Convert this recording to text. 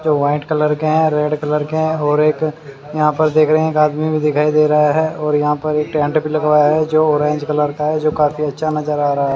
White colour का है red colour का है और एक यहां पर देख रहे हैं एक आदमी भी दिखाई दे रहा है और यहां पर एक टेंट भी लगवाया है जो ऑरेंज कलर का है जो काफी अच्छा नजर आ रहा है।